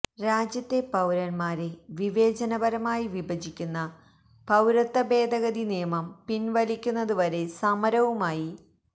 രാജ്യത്തെ പൌരന്മാരെ വിവേചനപരമായി വിഭജിക്കുന്ന പൌരത്വഭേദഗതി നിയമം പിന്വലിക്കുന്നതു വരെ സമരവുമായി